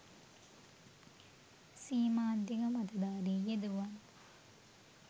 සීමාන්තික මතධාරී යුදෙවුවන්